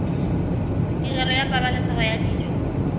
tirelo ya pabalesego ya dijo